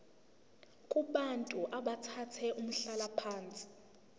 kubantu abathathe umhlalaphansi